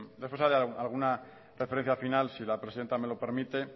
después de hacer alguna referencia final si la presidenta me lo permite